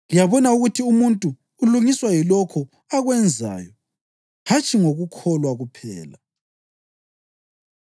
Liyabona ukuthi umuntu ulungiswa yilokho akwenzayo hatshi ngokukholwa kuphela.